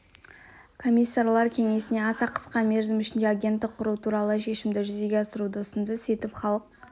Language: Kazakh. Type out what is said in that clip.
комиссарлар кеңесіне аса қысқа мерзім ішінде агенттік құру туралы шешімді жүзеге асыруды ұсынды сөйтіп халық